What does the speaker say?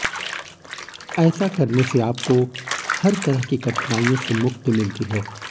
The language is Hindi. ऐसा करने से आपको हर तरह की कठिनाइयों से मुक्ति मिलती है